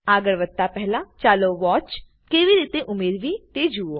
આગળ વધતા પહેલા ચાલો વોચ કેવી રીતે ઉમેરવી તે જુઓ